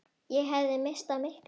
Ég hefði misst af miklu.